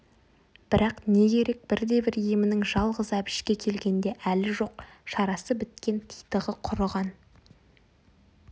бірақ не керек бірде-бір емінің жалғыз әбішке келгенде әлі жоқ шарасы біткен титығы құрыған